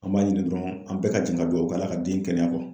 An b'a ɲini dɔrɔn an bɛɛ k'an jɛn ka duwɔwu kɛ Ala ka den kɛnɛya